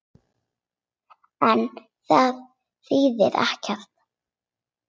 En það þýðir ekkert.